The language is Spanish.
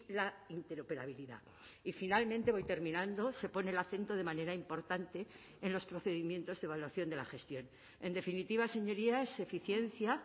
la interoperabilidad y finalmente voy terminando se pone el acento de manera importante en los procedimientos de evaluación de la gestión en definitiva señorías eficiencia